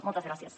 moltes gràcies